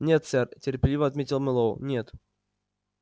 нет сэр терпеливо ответил мэллоу нет